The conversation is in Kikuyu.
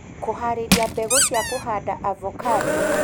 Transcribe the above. Kũharĩria mbegũ cia kũhanda avocado